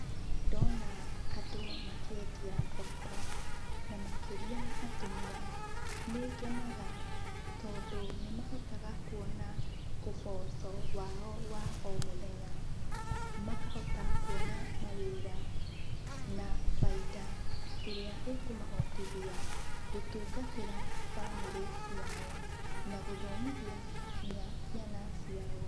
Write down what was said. Ndona andũ makĩendia thoko, na makĩria atumia, nĩngenaga tondũ nĩmahotaga kuona ũboco wao wa o mũthenya. Makahota kuona mawĩra na bainda ĩrĩa ĩkũmahotithia gũtungatĩra bamĩrĩ ciao na gũthomithia kinya ciana ciao.